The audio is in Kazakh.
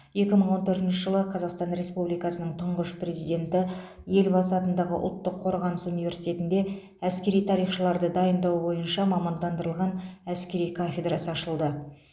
екі мың он төртінші жылы қазақстан республикасының тұңғыш президенті елбасы атындағы ұлттық қорғаныс университетінде әскери тарихшыларды дайындау бойынша мамандандырылған әскери кафедрасы ашылды